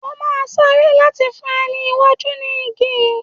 O máa sáré láti fún ẹni iwájú ní igi yìí.